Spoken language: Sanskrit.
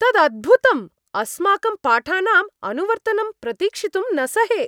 तदद्भुतम्! अस्माकं पाठानाम् अनुवर्तनं प्रतीक्षितुं न सहे।